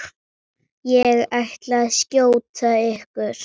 Ég ætla að skjóta ykkur!